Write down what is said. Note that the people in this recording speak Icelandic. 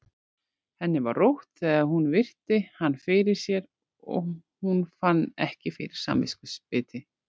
Henni var rótt þegar hún virti hann fyrir sér og hún fann ekki fyrir samviskubiti.